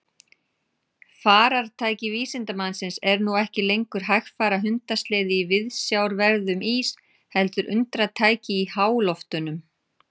Farartæki vísindamannsins er nú ekki lengur hægfara hundasleði í viðsjárverðum ís heldur undratæki í háloftunum.